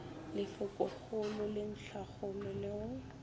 lefokogolo le ntlhakgolo le go